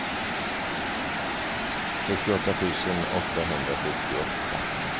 sextioåtta tusen åttahundrasjuttioåtta